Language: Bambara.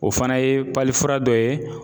O fana ye fura dɔ ye.